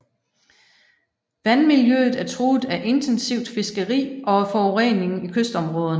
Vandmiljøet er truet af intensivt fiskeri og af forureningen i kystområderne